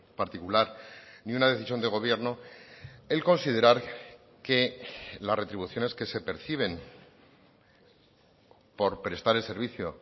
particular ni una decisión de gobierno el considerar que las retribuciones que se perciben por prestar el servicio